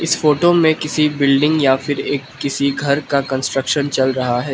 इस फोटो में किसी बिल्डिंग या फिर एक किसी घर का कंस्ट्रक्शन चल रहा है।